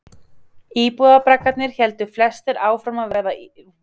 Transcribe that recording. Íbúðarbraggarnir héldu flestir áfram að vera íbúðarbraggar en önnur hús fengu nýja rullu.